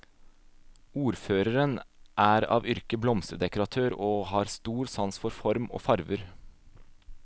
Ordføreren er av yrke blomsterdekoratør, og har stor sans for form og farver.